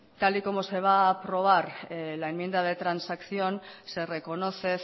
tal y como se va a aprobar en la enmienda de transacción se reconoce